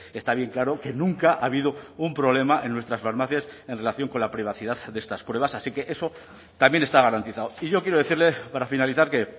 está bien claro que nunca ha habido un problema en nuestras farmacias en relación con la privacidad de estas pruebas así que eso también está garantizado y yo quiero decirle para finalizar que